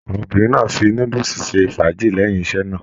Àwọn obìnrin náà fí núdúsí ṣe ifajẹ lẹyìn iṣẹ náà.